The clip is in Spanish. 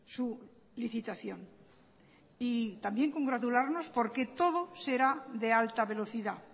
su licitación y también congratularnos porque todo será de alta velocidad